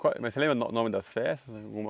Qual é mas você lembra no nome das festas? Alguma